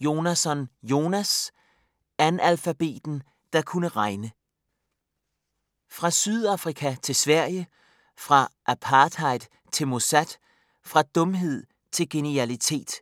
Jonasson, Jonas: Analfabeten der kunne regne Fra Sydafrika til Sverige, fra apartheid til Mossad, fra dumhed til genialitet.